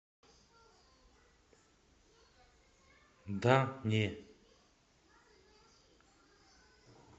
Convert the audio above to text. да не